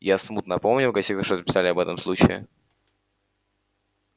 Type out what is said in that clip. я смутно помню в газетах что-то писали об этом случае